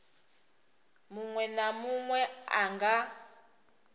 munwe na munwe a nga